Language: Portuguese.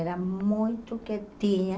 Era muito quietinha.